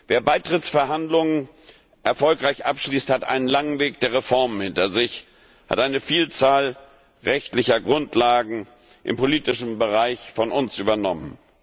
Wer Beitrittsverhandlungen erfolgreich abschließt, hat einen langen Weg der Reformen hinter sich, hat eine Vielzahl rechtlicher Grundlagen im politischen Bereich von uns übernommen.